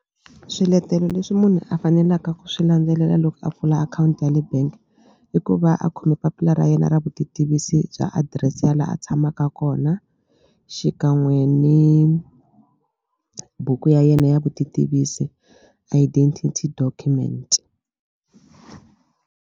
Swiletelo leswi munhu a fanelaka ku swi landzelela loko a pfula akhawunti ya le bank i ku va a khome papila ra yena ra vutitivisi bya adirese ya la a tshamaka kona xikan'we ni buku ya yena ya vutitivisi identity document.